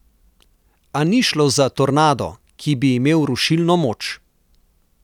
A ni šlo za tornado, ki bi imel rušilno moč.